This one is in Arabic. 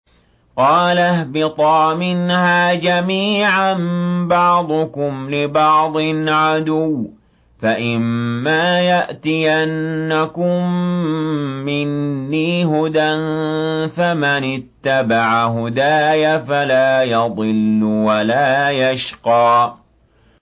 قَالَ اهْبِطَا مِنْهَا جَمِيعًا ۖ بَعْضُكُمْ لِبَعْضٍ عَدُوٌّ ۖ فَإِمَّا يَأْتِيَنَّكُم مِّنِّي هُدًى فَمَنِ اتَّبَعَ هُدَايَ فَلَا يَضِلُّ وَلَا يَشْقَىٰ